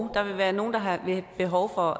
der vil være nogle der har behov for